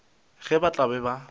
ge ba tla be ba